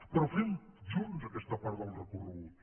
però fem junts aquesta part del recorregut